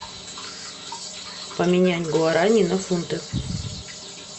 поменять гуарани на фунты